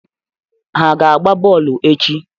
Ha aga-agba bọọlụ echi?